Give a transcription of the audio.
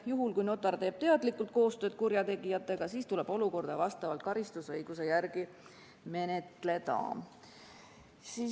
Juhul kui notar teeb teadlikult koostööd kurjategijatega, tuleb olukorda vastavalt karistusõiguse järgi menetleda.